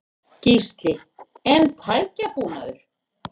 Gísli: En tækjabúnaður?